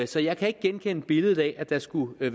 så jeg kan ikke genkende billedet af at der skulle have